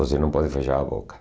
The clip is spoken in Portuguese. Você não pode fechar a boca.